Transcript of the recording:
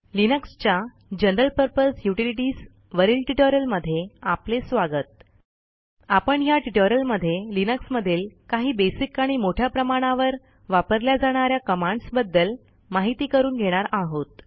लिनक्सच्या general purpose utilities वरील ट्युटोरियलमध्ये आपले स्वागत आपण ह्या ट्युटोरियलमध्ये लिनक्समधील काही बेसिक आणि मोठ्या प्रमाणावर वापरल्या जाणा या कमांडस बद्दल माहिती करून घेणार आहोत